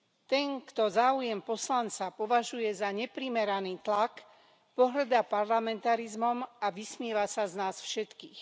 Ten, kto záujem poslanca považuje za neprimeraný tlak, pohŕda parlamentarizmom a vysmieva sa z nás všetkých.